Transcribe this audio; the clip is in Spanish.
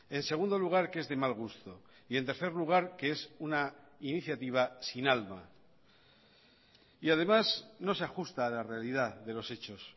en segundo lugar que es de mal gusto y en tercer lugar que es una iniciativa sin alma y además no se ajusta a la realidad de los hechos